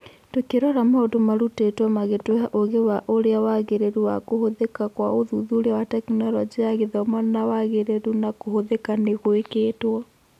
Tũkĩrora maũndũ marutĩtwo magĩtũhe ũgĩ wa ũrĩa wagĩrĩru na kũhũthĩka kwa ũthuthuria wa Tekinoronjĩ ya Gĩthomo na wagĩrĩru na kũhũthĩka nĩ gũĩkĩtwo.